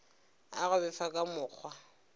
a go befa ka mokgwa